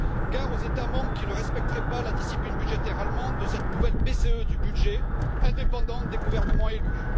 Gare aux États membres qui ne respecteraient pas la discipline budgétaire allemande de cette nouvelle BCE du budget, indépendante des gouvernements élus.